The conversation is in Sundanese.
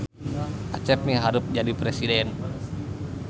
Acep miharep jadi presiden